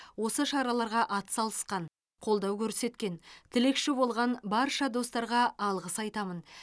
осы шараларға атсалысқан қолдау көрсеткен тілекші болған барша достарға алғыс айтамын